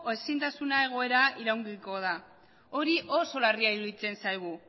ezintasun egoera iraungiko da hori oso larria iruditzen zaigu